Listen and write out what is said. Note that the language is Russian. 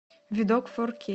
видок фор кей